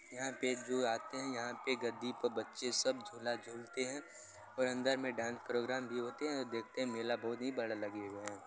यहाँ पे जो आते हैं यहाँ पे गद्दी पे सब बच्चे झूला झूलते है और अंदर में डांस प्रोग्राम भी होते हैं और देखते है मेला बोहोत ही बड़ा लगे हुए है।